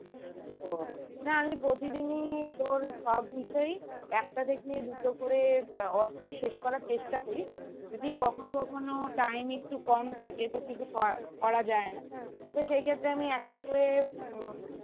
ও না আমি প্রতিদিনই তোর সব বিষয়েই একটা থেকে দুটো করে আহ অধ্যায় শেষ করার চেষ্টা করি যদি কখনো কখনো time একটু কম থাকে তো কিছু করা~ করা যায় না তো সেই ক্ষেতের আমি একটা করে উম